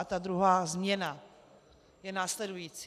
A ta druhá změna je následující.